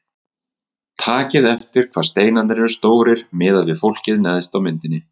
Takið eftir hvað steinarnir eru stórir miðað við fólkið neðst á myndinni.